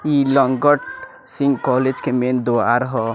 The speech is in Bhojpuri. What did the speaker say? इ लंगट सिंह कॉलेज के मैन द्वार हअ।